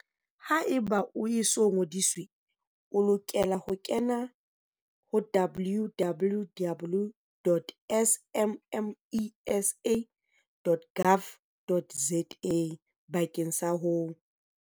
Haeba o e so ngodiswe, o lokela ho kena ho www.smmesa.gov.za bakeng sa ho.